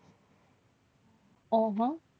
આહ